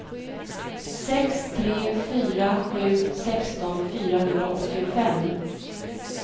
sex tre fyra sju sexton fyrahundraåttiofem